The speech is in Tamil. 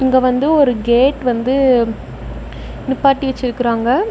இங்க வந்து ஒரு கேட் வந்து நிப்பாட்டி வச்சிருக்கறாங்க.